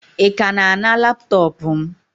Ị ka na-ana laptọọpụ m?